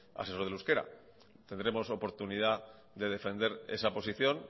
asesor del euskera tendremos oportunidad de defender esa posición